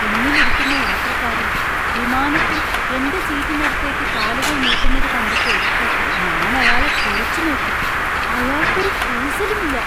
പിന്നിൽ ഇരിക്കുന്ന യാത്രക്കാരൻ വിമാനത്തിൽ എന്‍റെ സീറ്റിനടുത്തേക്ക് കാലുകൾ നീട്ടുന്നത് കണ്ടപ്പോൾ ഞാൻ അയാളെ തുറിച്ചു നോക്കി. അയാള്‍ക്ക് ഒരു കൂസലുമില്ല.